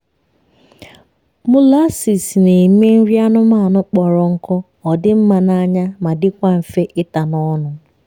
molases na eme nri anụmanụ kpọrọ nkụ odi mma na anya ma dikwa nfe ita n’ ọnụ